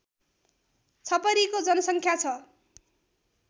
छपरीको जनसङ्ख्या छ